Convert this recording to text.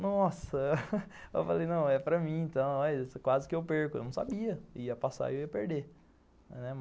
Nossa, eu falei, não, é para mim então, quase que eu perco, eu não sabia, ia passar e eu ia perder.